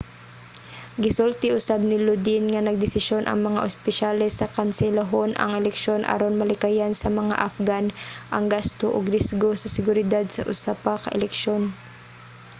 gisulti usab ni lodin nga nagdesisyon ang mga opisyales nga kanselahon ang eleksyon aron malikayan sa mga afghan ang gasto ug risgo sa seguridad sa usa pa ka eleksyon